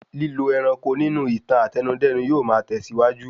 Lílo ẹranko nínú ìtàn Àtẹnudẹ́nu yóò ma tẹ̀síwájú